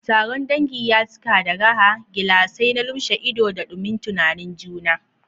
Taron dangi ya cika da raha, gilasai na lumshe ido, da dumin tunanin juna.